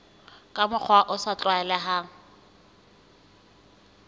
ka mokgwa o sa tlwaelehang